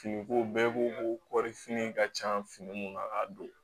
Fini ko bɛɛ ko ko kɔɔrifini ka can fini mun na k'a don